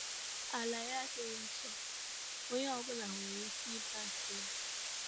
Ala ya adịghị nsọ, onye ọ bụla nwere ike ịba ns ya. ”